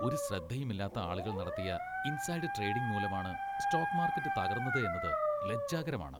ഒരു ശ്രദ്ധയും ഇല്ലാത്ത ആളുകൾ നടത്തിയ ഇൻസൈഡ് ട്രേഡിംഗ് മൂലമാണ് സ്റ്റോക്ക് മാർക്കറ്റ് തകർന്നത് എന്നത് ലജ്ജാകരമാണ്.